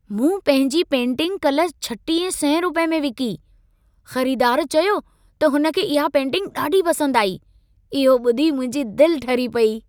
मूं पंहिंजी पेंटिंग काल्ह 3600 रुपयनि में विकी। ख़रीदार चयो त हुनखे इहा पेंटिंग ॾाढी पसंदि आई। इहो ॿुधी मुंहिंजी दिलि ठरी पेई।